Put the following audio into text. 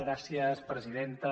gràcies presidenta